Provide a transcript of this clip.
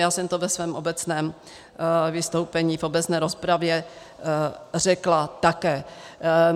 Já jsem to ve svém obecném vystoupení, v obecné rozpravě řekla také.